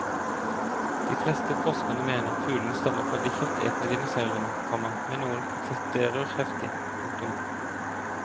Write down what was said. De fleste forskerne mener fuglene stammer fra de kjøttetende dinosaurene, komma men noen protesterer heftig. punktum